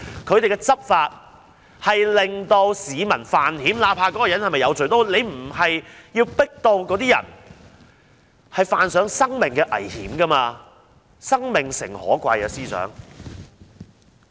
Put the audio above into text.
警方的執法令市民犯險，不論那些人是否有罪，警方也不應壓迫他們致令他們要以身犯險，司長，生命誠可貴。